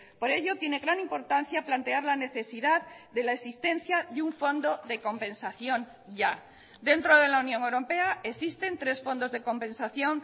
por ello tiene gran importancia plantear la necesidad de la existencia de un fondo de compensación ya dentro de la unión europea existen tres fondos de compensación